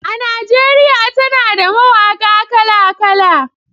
A Najeriya tana da mawaƙa kala-kala.